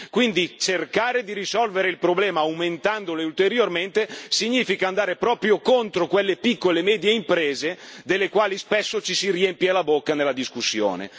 Quindi, cercare di risolvere il problema aumentandole ulteriormente significa andare proprio contro quelle piccole e medie imprese delle quali spesso ci si riempie la bocca nella discussione.